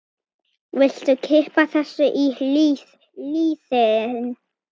Viltu kippa þessu í liðinn?